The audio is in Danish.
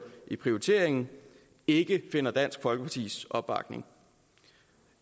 i prioriteringen ikke finder dansk folkepartis opbakning